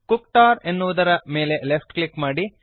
ಕುಕ್ಟರ್ ಎನ್ನುವುದರ ಮೇಲೆ left click ಮಾಡಿರಿ